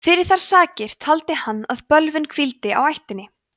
fyrir þær sakir taldi hann að bölvun hvíldi á ættinni